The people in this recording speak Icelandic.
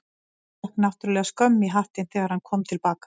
En fékk náttúrlega skömm í hattinn þegar hann kom til baka.